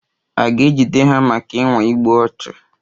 A ga-ejide ha maka ịnwa igbu ọchụ?